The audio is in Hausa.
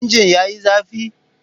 Injin yayi zafi?